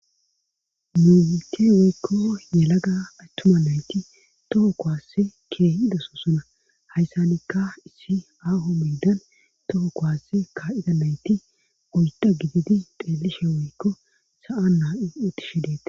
Momite weykko yelaga athtuma nayti toho kowaasse keehi idosoossona hayssanikka issi aaho miidan toho kowasse ka7ida nayti uyda gididi deelishe woykko sa7a naautishi deete